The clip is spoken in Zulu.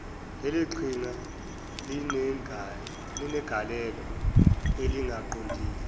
leliqhinga linegalelo elingaqondile